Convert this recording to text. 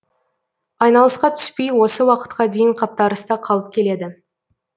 айналысқа түспей осы уақытқа дейін қаптарыста қалып келеді